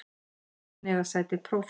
Í nefndinni eiga sæti prófessor